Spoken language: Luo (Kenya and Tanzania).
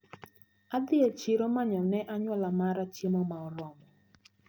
Adhi e chiro manyo ne anyuola mara chiemo maoromo.